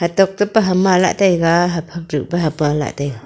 tap tap pa ham ma lah taiga hap ham pa hapa lahle.